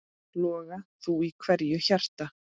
Loga þú í hverju hjarta.